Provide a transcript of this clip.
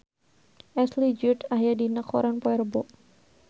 Ashley Judd aya dina koran poe Rebo